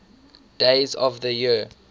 days of the year